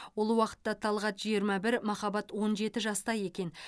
ол уақытта талғат жиырма бір махаббат он жеті жаста екен